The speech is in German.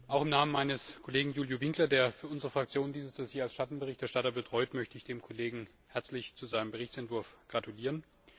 Auch im Namen meines Kollegen Iuliu Winkler, der für unsere Fraktion dieses Dossier als Schattenberichterstatter betreut, möchte ich dem Kollegen herzlich zu seinem Berichtsentwurf gratulieren.